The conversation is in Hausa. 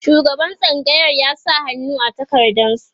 shugaban tsangayar ya sa hannu a takardan su